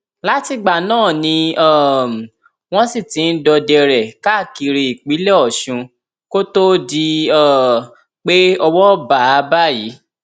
látìgbà náà ni um wọn sì ti ń dọdẹ rẹ káàkiri ìpínlẹ ọṣun kó tóó di um pé owó bá a báyìí